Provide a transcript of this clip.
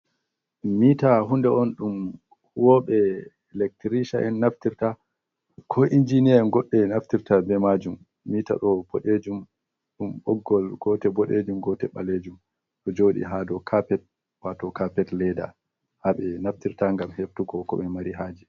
Miita hunde on ɗum huwoɓe elctricha'en naftirta ko injiniya'en, goɗɗe naftirta be majum mita ɗon boɗejum ɗum boggol gotel boɗejum gote ɓalejum ɗo jodi ha do kapet wato kapet leda haɓe naftirta ngam heftuko koɓe mari haje.